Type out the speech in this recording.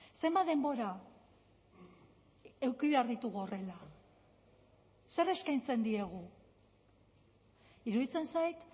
zenbat denbora eduki behar ditugu horrela zer eskaintzen diegu iruditzen zait